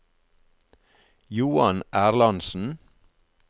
Johan Erlandsen